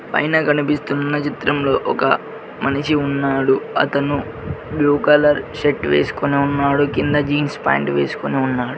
పైన కనిపిస్తున్న చిత్రంలో ఒక మనిషి ఉన్నాడు అతను బ్లూ కలర్ షర్ట్ వేసుకొని ఉన్నాడు కింద జీన్స్ పాయింట్ వేసుకొని ఉన్నారు.